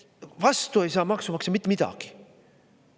Vastu ei saa maksumaksja mitte midagi.